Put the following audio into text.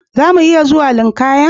Zamu iya zuwa linkaya?